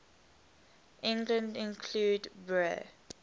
england include bre